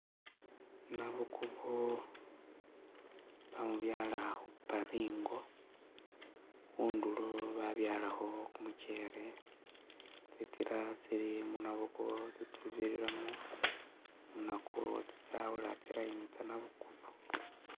Nabukubo bamubyala khuparingo khundulo babyalakho kumuchele tsinzila tsili mu nabukubo tsibiriramo nakwo tsitsawula tsi'line tsa nabukubo